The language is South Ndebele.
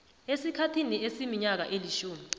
esikhathini esiminyaka elitjhumi